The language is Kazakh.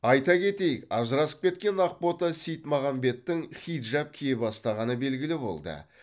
айта кетейік ажырасып кеткен ақбота сейітмағамбеттің хиджаб кие бастағаны белгілі болды